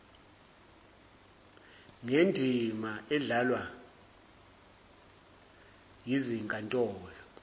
ngendima edlalwa yizinkantolo